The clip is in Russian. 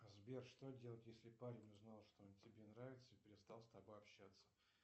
сбер что делать если парень узнал что он тебе нравится и перестал с тобой общаться